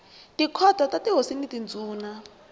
tikhoto ta tihosi na tindhuna